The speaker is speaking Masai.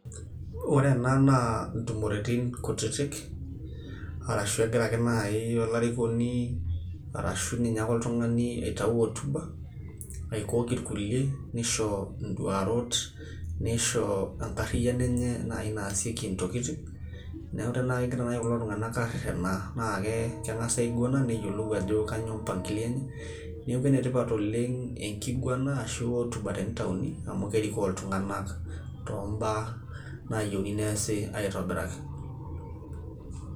Ore ena naa intumoritin kutitik arashu egira ake naaji , arashu egira ake naaji olarikoni arashu oltung'ani aitayu hotuba aikok ilkulie neisho nduarot neisho enariano enye naaji naasieki intokitin neaku kore tenegira naaji kulo tung'anak arenaa naa keng'as aig'wena neyioluu ajo kainyoo mpangilio enye. Neaku ene tipat enkig'wena ana entumo amu kerikoo iltunganak too mbaa nayiouni neasi aitobiraki.